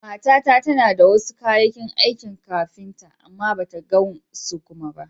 Matata tana da wasu ƙayakin aikin kafinta, amma bata gan su kuma ba.